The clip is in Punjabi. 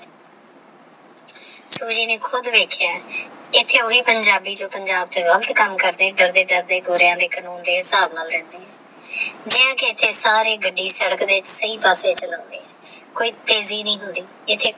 ਸੁਜੀ ਨੇ ਖੁਦ ਵੇਖ੍ਯਾ ਆਹ ਐਥੇ ਓਹੀ ਪਿੰਜਾਬੀ ਜੋ ਪੰਜਾਬ ਦੇ ਕਾਮ ਕਰਦੇ ਡਰਦੇ ਡਰਦੇ ਗੋਰੇ ਦੇਖਣਾ ਅੰਡੇ ਆਹ ਹਿਸਾਬ ਨਾਲ ਰਹਨੇ ਆਹ ਗਿੰਨ ਕ ਐਥੇ ਸਾਰੇ ਗੱਡੀ ਸਾਦਕ ਦੇ ਸਹੀ ਪੱਸੇ ਚਲਾਂਦੇ ਆਹ ਕੋਈ ਤੇਜੀ ਨਹੀ ਹੁੰਦੀ